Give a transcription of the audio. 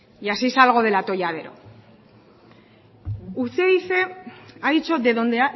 y así salgo del atolladero usted dice ha dicho de donde